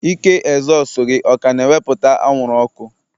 Ike ezosu gị ọ ka na-ewepụta anwụrụ ọkụ?